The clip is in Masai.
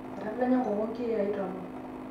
etadanya nkoko inkiyai tomon